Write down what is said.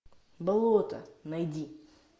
болото найди